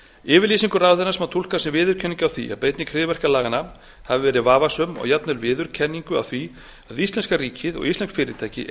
yfirlýsingu ráðherrans má túlka sem viðurkenningu á því að beiting hryðjuverkalaganna hafi verið vafasöm og jafnvel viðurkenningu á því að íslenska ríkið og íslensk fyrirtæki